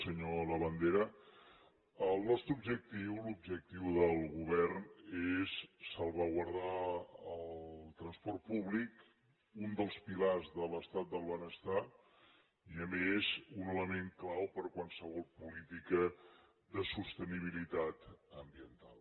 senyor labandera el nostre objectiu l’objectiu del govern és salvaguardar el transport públic un dels pilars de l’estat del benestar i a més un element clau per a qualsevol política de sostenibilitat ambiental